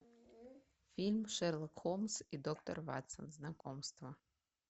фильм шерлок холмс и доктор ватсон знакомство